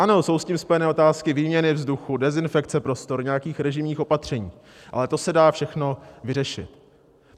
Ano, jsou s tím spojené otázky výměny vzduchu, dezinfekce prostor, nějakých režijních opatření, ale to se dá všechno vyřešit.